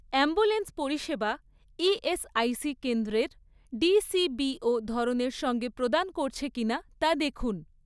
Ambulance পরিষেবা ESIC কেন্দ্রের ডিসিবিও ধরনের সঙ্গে প্রদান করছে কিনা তা দেখুন।